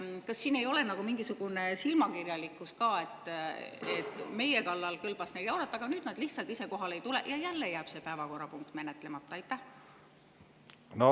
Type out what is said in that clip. Kas siin ei ole nagu silmakirjalikkust ka, et meie kallal kõlbas neil jaurata, aga nüüd nad lihtsalt ise kohale ei tule ja jälle jääb päevakorrapunkt menetlemata?